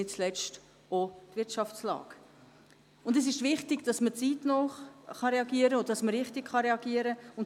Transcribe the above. Ich steige jetzt gleich mit der Tabu-Frage ein.